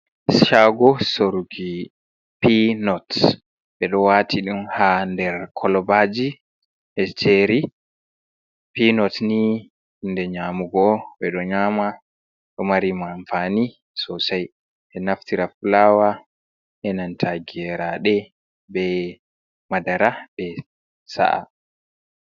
Shaago soruki pinot ɓeɗo waati ɗum ha nder kolobaji ɗo jeri pinot ni hunde nyamugo ɓeɗo nyama ɗo mari amfani sosai ɓeɗo naftira be fulaawa enanta geraɗe, be madara ɓeɗo sa’a.